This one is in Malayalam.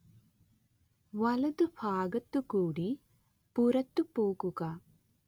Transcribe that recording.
വലത് ഭാഗത്തുകൂടി പുറത്തുപോകുക